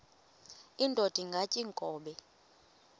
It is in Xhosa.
indod ingaty iinkobe